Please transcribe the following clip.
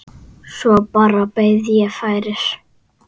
Svo bara beið ég færis.